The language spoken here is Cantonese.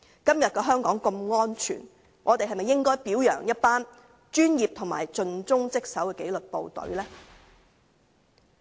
今天的香港如此安全，我們是否應表揚一群專業和盡忠職守的紀律部隊呢？